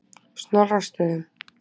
Snorrastöðum